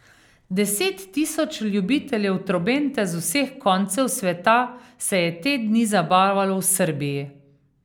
Deset tisoč ljubiteljev trobente z vseh koncev sveta se je te dni zabavalo v Srbiji.